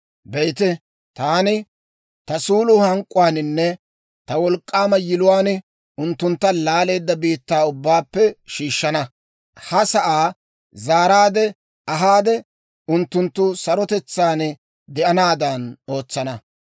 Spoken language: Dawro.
«Be'ite, taani ta suulo hank'k'uwaaninne ta wolk'k'aama yiluwaan unttuntta laaleedda biittaa ubbaappe shiishshana; ha sa'aa zaaraadde ahaade, unttunttu sarotetsaan de'anaadan ootsana.